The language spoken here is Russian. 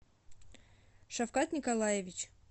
шавкат николаевич